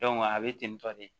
a bɛ ten tɔ de